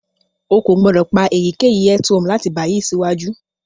O ko gbodo pa eyikeyi earthworm lati bayi siwaju.